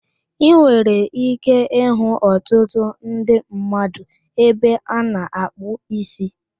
Ị nwere ike ịhụ ọtụtụ ndị mmadụ ebe ana akpụ ísí